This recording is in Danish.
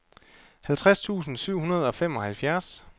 halvtreds tusind syv hundrede og femoghalvfjerds